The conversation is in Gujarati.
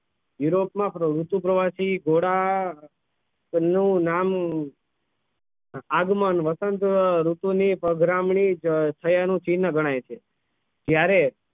યુરોપ માં ઋતુ પ્રવાસી ઘોડા નું નામ આગમન વસંત ઋતુ ની પધરામણી થયા નું ચિહ્ન ગણાય છે જ્યારે